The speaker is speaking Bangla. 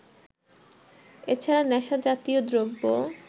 এ ছাড়া নেশাজাতীয় দ্রব্য